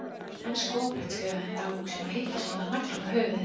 En skoplegt skrifaði hann í dagbók sína og hitti sennilega naglann á höfuðið.